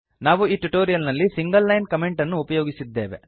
ನಾವು ಈ ಟ್ಯುಟೋರಿಯಲ್ ನಲ್ಲಿ ಸಿಂಗಲ್ ಲೈನ್ ಕಾಮೆಂಟ್ ಅನ್ನು ಉಪಯೋಗಿಸಿದ್ದೇವೆ